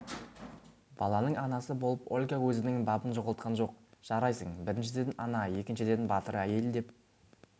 баланың анасы болып ольга өзінің бабын жоғалтқан жоқ жарайсың біріншіден ана екіншіден батыр әйел деп